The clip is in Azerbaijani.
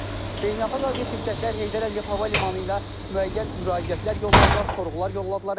Beynəlxalq aviaşirkətlər Heydər Əliyev hava limanı ilə müəyyən müraciətlər yolladılar, sorğular yolladılar.